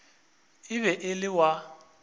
e be e le wa